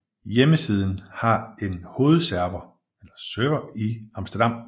Hjemmesiden har en hovedserver i Amsterdam